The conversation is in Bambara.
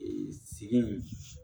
sigi